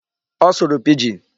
Ọ sụrụ Pidgin.